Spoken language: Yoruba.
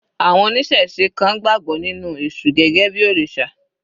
Àwọn oníṣẹ̀se kan gbàgbọ́ nínú èṣù gẹ́gẹ́ bí òrìṣà.